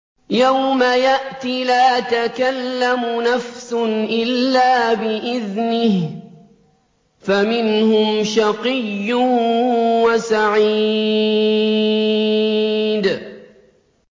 يَوْمَ يَأْتِ لَا تَكَلَّمُ نَفْسٌ إِلَّا بِإِذْنِهِ ۚ فَمِنْهُمْ شَقِيٌّ وَسَعِيدٌ